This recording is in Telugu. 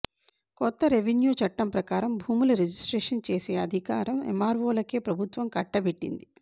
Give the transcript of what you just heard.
కొత్త రెవిన్యూ చట్టం ప్రకారంగా భూముల రిజిస్ట్రేషన్ చేసే అధికారం ఎమ్మార్వోలకే ప్రభుత్వం కట్టబెట్టింది